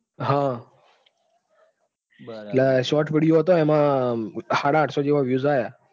હા એટલે short video હતો એટલે સાડાઆઠસો જેવા views આયાં.